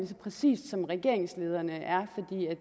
så præcist som regeringslederne er